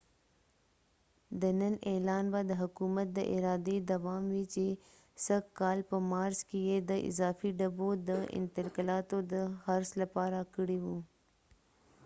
د نن اعلان به د حکومت د ارادي دوام وي چې سږ کال په مارچ کې یې د اضافی ډبو د انتقالاتو د خرڅ لپاره کړي و